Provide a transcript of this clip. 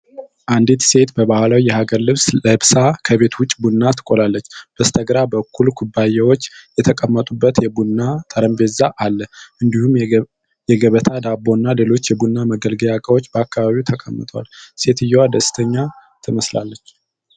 አንዲት ሴት በባህላዊ የሀገር ልብስ ለብሳ፣ ከቤት ውጭ ቡና ትቆላለች። በስተግራ በኩል ኩባያዎች የተቀመጡበት የቡና ጠረጴዛ አለ። እንዲሁም የገበታ ዳቦ እና ሌሎች የቡና መገልገያ እቃዎች በአካባቢው ተቀምጠዋል። ሴትየዋ ደስተኛ ትመስላለች።